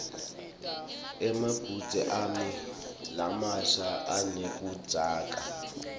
emabhudze ami lamasha aneludzaka